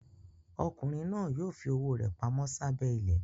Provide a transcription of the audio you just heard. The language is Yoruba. Ọkùnrin náà yóò fi owó rẹ̀ pamọ́ sábẹ́ ilẹ̀.